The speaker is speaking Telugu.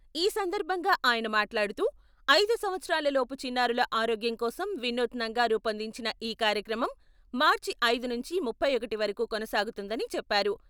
ఈ సందర్భంగా ఆయన మాట్లాడుతూ, ఐదు సంవత్సరాల లోపు చిన్నారుల ఆరోగ్యం కోసం వినూత్నంగా రూపొందించిన ఈ కార్యక్రమం మార్చి ఐదు నుంచి ముప్పై ఒకటి వరకు కొనసాగుతుందని చెప్పారు.